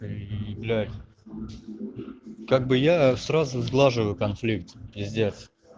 и блять как бы я сразу сглаживаю конфликт пиздец